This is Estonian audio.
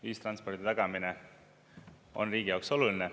Ühistranspordi tagamine on riigi jaoks oluline.